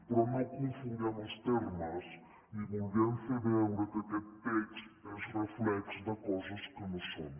però no confonguem els termes ni vulguem fer veure que aquest text és reflex de coses que no són